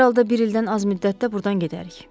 Hər halda bir ildən az müddətdə burdan gedərik.